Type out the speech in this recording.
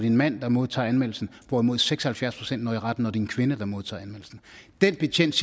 en mand der modtager anmeldelsen hvorimod seks og halvfjerds procent når i retten når det er en kvinde der modtager anmeldelsen den betjent